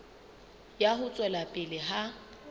ya ho tswela pele ha